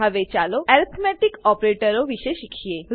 હવે ચાલો એર્થમેટીક ઓપરેટરો વિશે શીખીએ